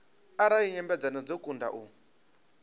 arali nyambedzano dzo kundwa u